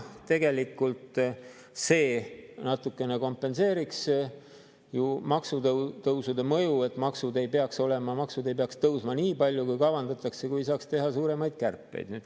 Tegelikult see natukene kompenseeriks ju maksutõusude mõju, et maksud ei peaks tõusma nii palju, kui kavandatakse, kui saaks teha suuremaid kärpeid.